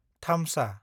थामसा